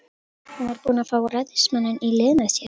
Hún var búin að fá ræðismanninn í lið með sér.